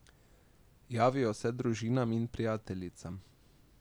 Javijo se družinam in prijateljicam.